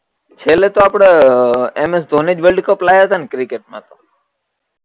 છેલ્લે તો આપણે એમએસ ધીની જ વર્લ્ડ કપ લાયા તા ની ક્રિકેટ મા